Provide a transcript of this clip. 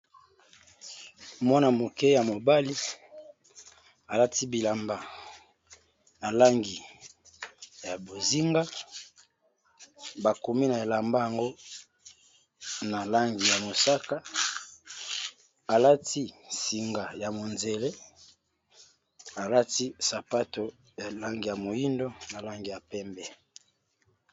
Mwana moke ya mobali a lati bilamba na langi ya bozinga ba komi na elamba yango na langi ya mosaka, a lati singa ya monzele a lati sapato ya langi ya moyindo na langi ya pembe .